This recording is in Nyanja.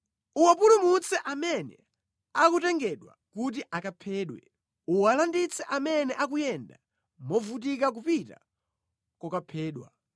Uwapulumutse amene akutengedwa kuti akaphedwe; uwalanditse amene akuyenda movutika kupita kokaphedwa.